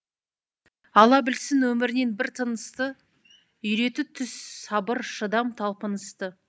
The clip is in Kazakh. ала білсін өмірінен бар тынысты үйрете түс сабыр шыдам талпынысты